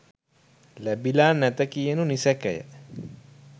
ලැබිලා නැත කියනු නිසැකය.